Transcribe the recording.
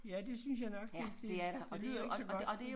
Ja det synes jeg nok det det det lyder ikke så godt